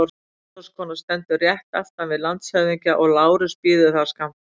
Matráðskona stendur rétt aftan við landshöfðingja og Lárus bíður þar skammt frá.